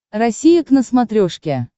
россия к на смотрешке